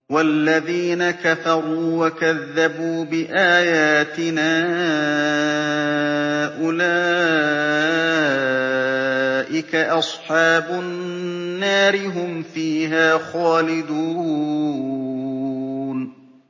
وَالَّذِينَ كَفَرُوا وَكَذَّبُوا بِآيَاتِنَا أُولَٰئِكَ أَصْحَابُ النَّارِ ۖ هُمْ فِيهَا خَالِدُونَ